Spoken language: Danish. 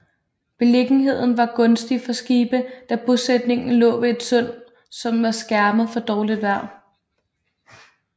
Beliggenheden var gunstig for skibe da bosætningen lå ved et sund som var skærmet for dårligt vejr